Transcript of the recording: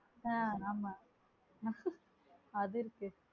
ஆஹ் ஆமா அதுக்கு அது இருக்கு